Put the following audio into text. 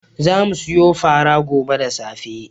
Za mu siyo fara gobe da safe.